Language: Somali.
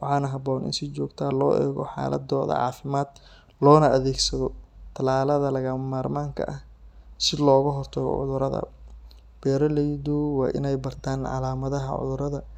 waxaana habboon in si joogto ah loo eego xaaladooda caafimaad loona adeegsado tallaalada lagama maarmaanka ah si looga hortago cudurrada. Beeraleydu waa inay bartaan calaamadaha cudurrada si